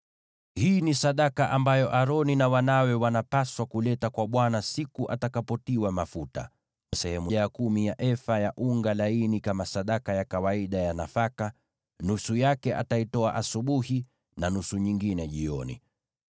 “Hii ni sadaka ambayo Aroni na wanawe wanapaswa kuleta kwa Bwana siku atakapotiwa mafuta: sehemu ya kumi ya efa ya unga laini kama sadaka ya kawaida ya nafaka. Nusu yake ataitoa asubuhi na nusu nyingine jioni.